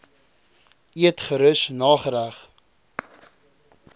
eet gerus nagereg